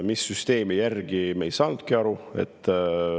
Mis süsteemi järgi, me ei ole aru saanudki.